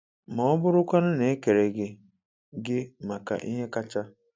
Ma ọ bụrụkwanụ na e kere gị gị maka ihe kacha?